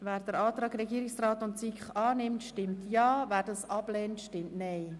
Wer den Antrag des Regierungsrats und der SiK annimmt, stimmt Ja, wer diesen ablehnt, stimmt Nein.